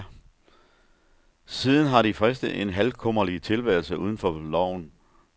Siden har de fristet en halvkummerlig tilværelse uden for loven.